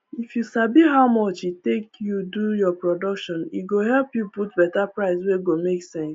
if you sabi how much e take you do your production e go help you put better price wey go make sense